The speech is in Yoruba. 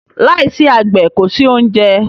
Lai si àgbẹ̀ kòsí oúnjẹ